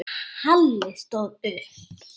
Halli stóð upp.